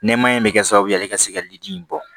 Nɛmaya in bɛ kɛ sababu ye ale ka se ka liliji in bɔ